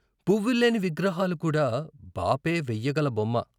పువ్వుల్లేని విగ్రహాలు కూడా బాపే వెయ్యగల బొమ్మ.